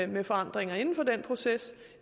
med forandringer inden for den proces